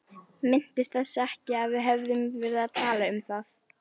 Minntist þess ekki að við hefðum talað um það.